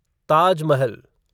Taj Mahal